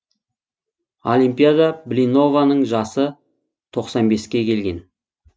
олимпиада блинованың жасы тоқсан беске келген